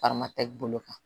Farama tɛ bolo kan